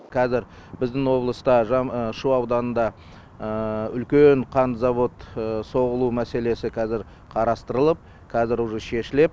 қазір біздің облыста шу ауданында үлкен қан завод соғылу мәселесі қазір қарастырылып қазір уже шешіледі